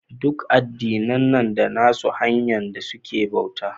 Duk addina na da nassu hanya da suke bauta.